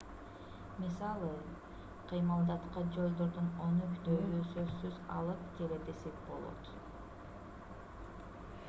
мисалы кыймылдаткыч жолдорду өнүктүүгө сөзсүз алып келет десек болот